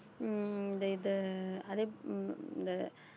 உம் இந்த இது